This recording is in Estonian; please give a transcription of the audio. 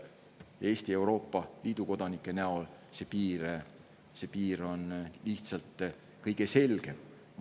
Eesti ja Euroopa Liidu kodanike puhul on see piir lihtsalt kõige selgem.